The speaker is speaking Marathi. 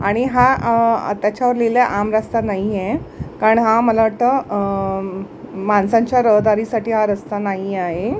आणि हा अ त्याच्यावर लिहिलय आम रस्ता नाहीये कारण हा मला वाटतं अ माणसांच्या रहदारीसाठी हा रस्ता नाही आहे.